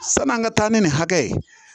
San'an ka taa ni nin hakɛ ye